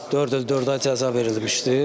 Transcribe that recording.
Dörd il dörd ay cəza verilmişdi.